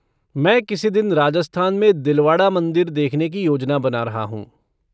मैं किसी दिन राजस्थान में दिलवाड़ा मंदिर देखने की योजना बना रहा हूँ।